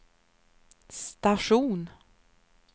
station